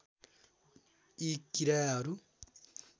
यी किराहरू